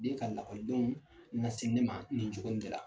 N ka lakɔdɔn ɲasi ne ma nin joko in de la!